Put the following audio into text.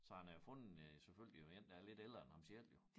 Så han har jo fundet øh selvfølgelig jo én der er lidt ældre end ham selv jo